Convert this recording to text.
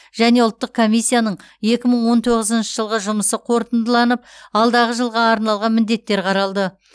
және ұлттық комиссияның екі мың он тоғызыншы жылғы жұмысы қорытындыланып алдағы жылға арналған міндеттер қаралды